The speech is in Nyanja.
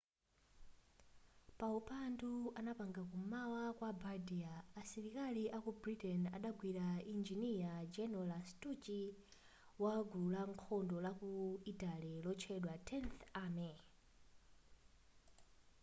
paupandu anapanga ku m'mawa kwa bardia asilikakali aku britain adagwira injiniya general lastucci wa gulu la nkhondo la ku italy lotchedwa tenth army